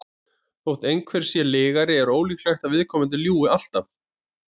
þótt einhver sé lygari er ólíklegt að viðkomandi ljúgi alltaf